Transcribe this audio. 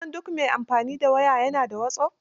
Kusan duk mai amfani da waya ya na da wasop.